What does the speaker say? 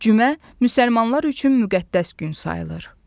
Cümə müsəlmanlar üçün müqəddəs gün sayılır.